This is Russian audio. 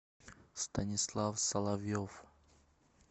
станислав соловьев